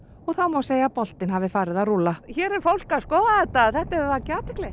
og þá má segja að boltinn hafi farið að rúlla hér er fólk að skoða þetta þetta hefur vakið athygli